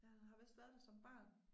Jeg har vist været der som barn